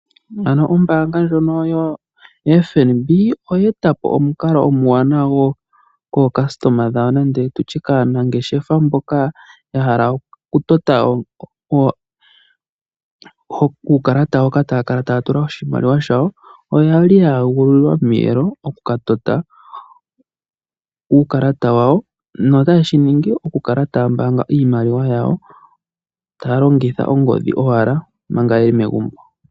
Ano ombaanga ndjono yoFNB oyeeta po omukalo omwaanawa kaayakulwa yawo nenge kaanangeshefa mboka ya hala okutota uukalata wawo hoka taya kala taya tula oshimaliwa shawo. Oye li ye egululilwa omiyelo okukatota uukalata wawo notaye shiningi okukala taya mbaanga iimaliwa yawo taya longitha ongodhi owala omanga ye li megumbo.